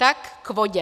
Tak k vodě.